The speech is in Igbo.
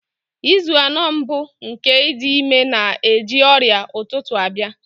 Izu anọ mbụ nke ịdị ime na-eji ọrịa ụtụtụ abịa.